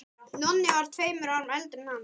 Nonni var tveimur árum eldri en hann.